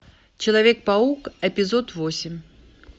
человек паук эпизод восемь